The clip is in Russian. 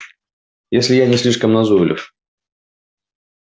если я не слишком назойлив